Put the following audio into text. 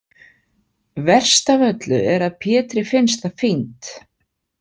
Verst af öllu er að Pétri finnst það fínt.